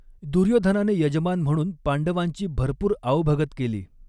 दुर्योधनाने यजमान म्हणून पांडवांची भरपूर आओभगत केली.